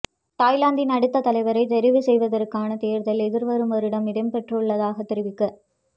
தாய்லாந்தின் அடுத்த தலைவரைத் தெரிவு செய்வதற்கான தேர்தல் எதிர்வரும் வருடம் இடம்பெறவுள்ளதாக தெரிவிக்கப